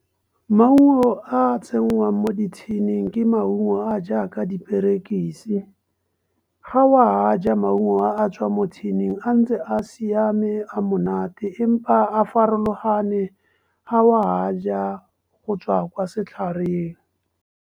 Maungo a a tsenngwang mo di-tin-ing ke maungo a jaaka diperekisi. Ga o a a ja maungo a tswa mo tin-ing, a ntse a siame a monate, empa a farologane ga wa a ja go tswa kwa setlhareng.